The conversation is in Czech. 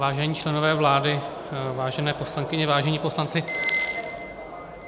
Vážení členové vlády, vážené poslankyně, vážení poslanci -